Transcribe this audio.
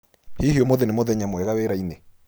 Hihi ũmũthĩ nĩ mũthenya mwega wĩra-inĩ?